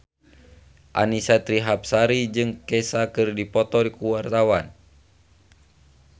Annisa Trihapsari jeung Kesha keur dipoto ku wartawan